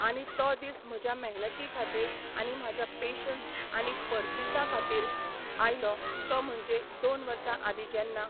आनी तो दीस म्हज्या मेहनती खातीर आनी म्हाज्या पेशंस आनी परसिसां खातीर आयलो तो म्हणजे दोन वर्सां आदीं जेन्ना